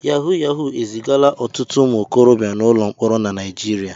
Yahu Yahu ezigala ọtụtụ ụmụ okorobịa n'ụlọ mkpọrọ na Naịjirịa.